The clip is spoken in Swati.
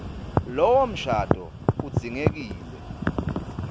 lowo mshado udzingekile